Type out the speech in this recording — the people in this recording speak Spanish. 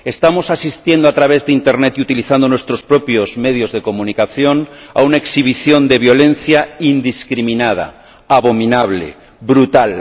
Estamos asistiendo, a través de internet y con la utilización de nuestros propios medios de comunicación, a una exhibición de violencia indiscriminada, abominable, brutal